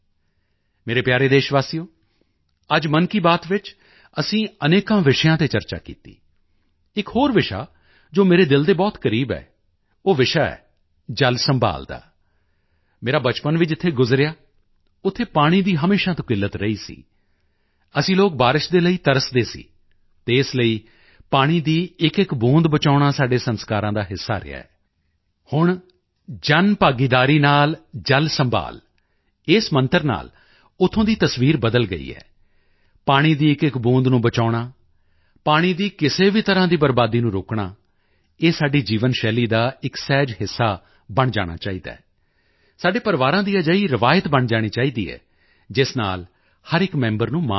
ਮੇਰੇ ਪਿਆਰੇ ਦੇਸ਼ਵਾਸੀਓ ਅੱਜ ਮਨ ਕੀ ਬਾਤ ਵਿੱਚ ਅਸੀਂ ਅਨੇਕਾਂ ਵਿਸ਼ਿਆਂ ਤੇ ਚਰਚਾ ਕੀਤੀ ਇੱਕ ਹੋਰ ਵਿਸ਼ਾ ਜੋ ਮੇਰੇ ਦਿਲ ਦੇ ਬਹੁਤ ਕਰੀਬ ਹੈ ਉਹ ਵਿਸ਼ਾ ਹੈ ਜਲ ਸੰਭਾਲ਼ ਦਾ ਮੇਰਾ ਬਚਪਨ ਵੀ ਜਿੱਥੇ ਗੁਜ਼ਰਿਆ ਉੱਥੇ ਪਾਣੀ ਦੀ ਹਮੇਸ਼ਾ ਤੋਂ ਕਿੱਲਤ ਰਹੀ ਸੀ ਅਸੀਂ ਲੋਕ ਬਾਰਿਸ਼ ਦੇ ਲਈ ਤਰਸਦੇ ਸੀ ਅਤੇ ਇਸ ਲਈ ਪਾਣੀ ਦੀ ਇੱਕਇੱਕ ਬੂੰਦ ਬਚਾਉਣਾ ਸਾਡੇ ਸੰਸਕਾਰਾਂ ਦਾ ਹਿੱਸਾ ਰਿਹਾ ਹੈ ਹੁਣ ਜਨ ਭਾਗੀਦਾਰੀ ਨਾਲ ਜਲ ਸੰਭਾਲ਼ ਇਸ ਮੰਤਰ ਨਾਲ ਉੱਥੋਂ ਦੀ ਤਸਵੀਰ ਬਦਲ ਗਈ ਹੈ ਪਾਣੀ ਦੀ ਇੱਕਇੱਕ ਬੂੰਦ ਨੂੰ ਬਚਾਉਣਾ ਪਾਣੀ ਦੀ ਕਿਸੇ ਵੀ ਤਰ੍ਹਾਂ ਦੀ ਬਰਬਾਦੀ ਨੂੰ ਰੋਕਣਾ ਇਹ ਸਾਡੀ ਜੀਵਨ ਸ਼ੈਲੀ ਦਾ ਇੱਕ ਸਹਿਜ ਹਿੱਸਾ ਬਣ ਜਾਣਾ ਚਾਹੀਦਾ ਹੈ ਸਾਡੇ ਪਰਿਵਾਰਾਂ ਦੀ ਅਜਿਹੀ ਰਵਾਇਤ ਬਣ ਜਾਣੀ ਚਾਹੀਦੀ ਹੈ ਜਿਸ ਨਾਲ ਹਰ ਇੱਕ ਮੈਂਬਰ ਨੂੰ ਮਾਣ ਹੋਵੇ